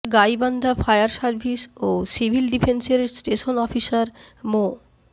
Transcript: Gaibandha fire service ও civil ডিফেন্সের station officer মো